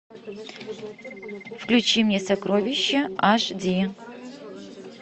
включи мне сокровища аш ди